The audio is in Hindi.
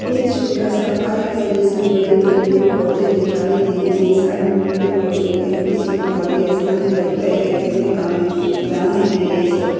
एक छोटा सा पार्क है जिसमें बड़ी बड़ी पेड़ पौधे दिखाई दी हैं साइड में भी पेड़ पौधे दिखाई बीच में खाली है स्थान है लगता है कि खेलने का मै दान हैं ये सब।